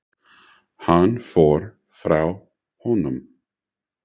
Hann fór frá honum.